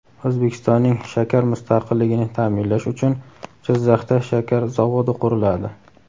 O‘zbekistonning shakar mustaqilligini ta’minlash uchun Jizzaxda shakar zavodi quriladi.